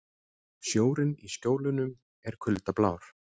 Sjórinn í Skjólunum er kuldablár.